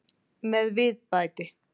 Með viðbæti.